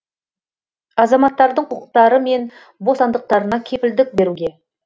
азаматтардың құқықтары мен бостандықтарына кепілдік беруге